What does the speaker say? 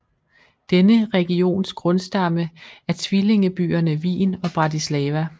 Denne regions grundstamme er tvillingebyerne Wien og Bratislava